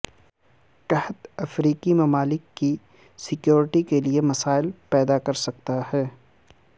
قحط افریقی ممالک کی سیکیورٹی کے لیئے مسائل پیدا کرسکتا ہے